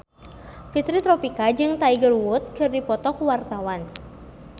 Fitri Tropika jeung Tiger Wood keur dipoto ku wartawan